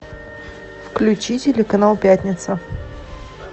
включи телеканал пятница